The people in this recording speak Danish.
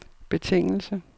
betingelse